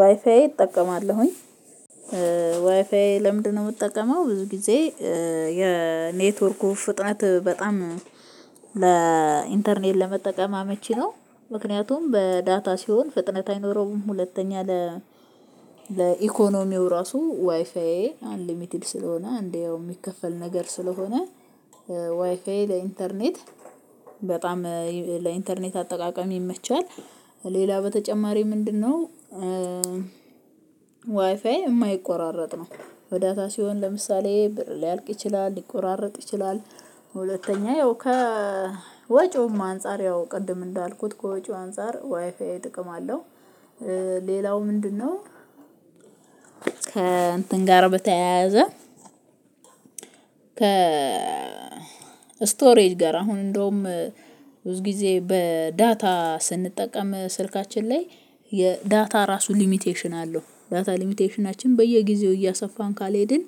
ዋይፋይ እጠቀማለሁኝ ዋይፋይ ለምንድነው የምጠቀመው ብዙ ጊዜ የኔትወርኩ ፍጥነት በጣም ለኢንተርኔት ለመጠቀም አመቺ ነው። ምክንያቱም በዳታ ሲሆን ፍጥነት አይኖረውም ሁለተኛ ለ ለኢኮኖሚው ራሱ ዋይፋዬ አንሊሚትድ ስለሆነ እንደው የሚከፈል ነገር ስለሆነ ዋይፋዬ ለኢንተርኔት በጣም ለኢንተርኔት አጠቀም ይመቻል ሌላ በተጨማሪ ምንድነው? ዋይፋይ የማይቆራረጥ ነው። በዳታ ሲሆን ለምሳሌ ሊያልቅ ይችላል ሊቆራረጥ ይችላል። ሁለተኛ ያው ከ ወጪውም አንፃር ያው ቅድም እንዳልኩት ከወጪው አንፃር ዋይፋይ ጥቅም አለው። ሌላው ምንድነው? ከእንትን ጋር በተያያዘ ከ ስቶሬጅ ጋር አሁን እንደውም ብዙ ጊዜ በዳታ ስንጠቀም ስልካችን ላይ የዳታ ራሱ ሊሚቴሽን አለው ዳታ ሊሚቴሽናችን በየጊዜው እያሰፋን ካልሄድን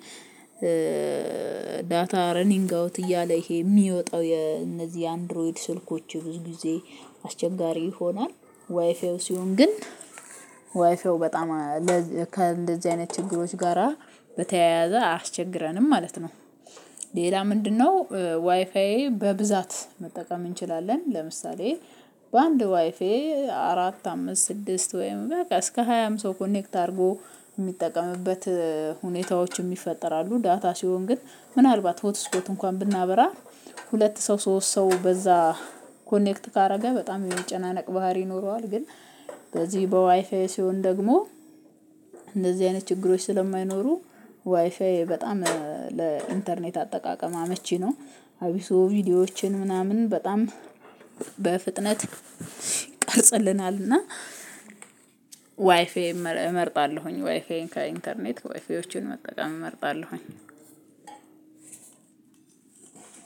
ዳታ ረኒንግ አውት እያለ ይሄ የሚወጣው የነዚህ አንድሮይድ ስልኮች ብዙ ጊዜ አስቸጋሪ ይሆናል። ዋይፌው ሲሆን ግን ዋይፌው በጣም ለእንደዚህ አይነት ችግሮች ጋራ በተያያዘ አያስቸግረንም ማለት ነው። ሌላ ምንድነው? ዋይፋዬ በብዛት መጠቀም እንችላለን ለምሳሌ በአንድ ዋይፋይ አራት አምስት ስድስት ወይም በቃ እስከ ሃያ አምስት ሰው ኮኔክት አድርጎ የሚጠቀምበት ሁኔታዎችም ይፈጠራሉ። ዳታ ሲሆን ግን ምናልባት ሆት ስፖት እንኳን ብናበራ ሁለት ሰው ሶስት ሰው በዛ ኮኔክት ካደረገ በጣም የመጨናነቅ ባህሪ ይኖረዋል። ግን በዚህ በዋይፋዬ ሲሆን ደግሞ እንደዚህ አይነት ችግሮች ስለማይኖሩ ዋይፋዬ በጣም ለኢንተርኔት አጠቃቀም አመቺ ነው። አቢሱ ቪዲዮዎችን ምናምን በጣም በፍጥነት ቀርጽልናል እና ዋይፋዬም እመርጣለሁኝ ዋይፋዬን ከኢንተርኔት ዋይፋዬን መጠቀም እመርጣለሁኝ።